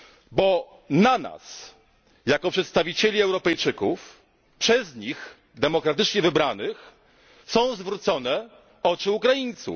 Bo na nas jako przedstawicieli Europejczyków przez nich demokratycznie wybranych są zwrócone oczy Ukraińców.